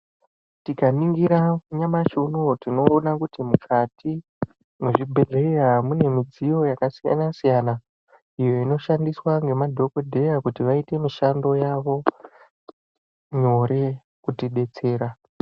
Tikaringira nyamashi unowu tinoona kuti mukati mwezvibhedhleya mune midziyo yakasiyana siyana iyo inoshandiswa ngemadhokodheya Kuti vaite mushando yavo nyore kutidetsera.